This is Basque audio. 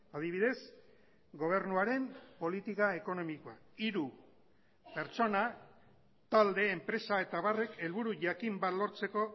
adibidez gobernuaren politika ekonomikoa hiru pertsona talde enpresa eta abarrek helburu jakin bat lortzeko